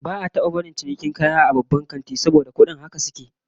Ba'a taba barin a yi cinikin kaya a babban kanti, kudin kaya haka suke